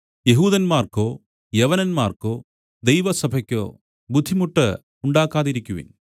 യെഹൂദന്മാർക്കോ യവനന്മാർക്കോ ദൈവസഭയ്ക്കോ ബുദ്ധിമുട്ട് ഉണ്ടാക്കാതിരിക്കുവിൻ